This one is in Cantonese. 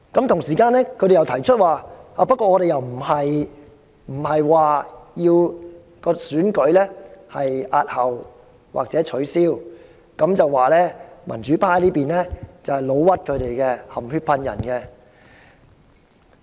同時，他們又說沒有打算押後或取消選舉，是民主派議員"老屈"他們、含血噴人。